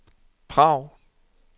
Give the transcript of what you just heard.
Prag